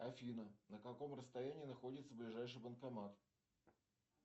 афина на каком расстоянии находится ближайший банкомат